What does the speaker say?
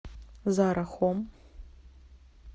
зара хом